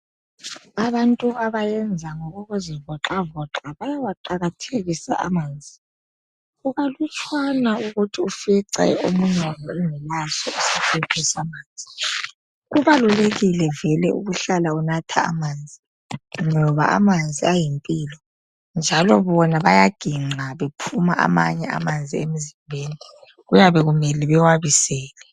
Abantu abayenza ngokokuzi voxavoxa bayawaqakathekisa amanzi kukalutshwana ukuthi ufice omunye wabo engelaso isigubhu samanzi kubalulekile vele ukuhlala unatha amanzi ngoba amanzi ayimpilo njalo bona bayaginqa bephuma amanye amanzi emzimbeni kuyabe kumele bewabisele.